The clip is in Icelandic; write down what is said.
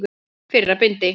Fyrra bindi.